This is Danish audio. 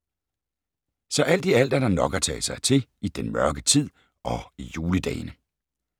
Så alt i alt er der nok at tage sig til i den mørke tid og i juledagene.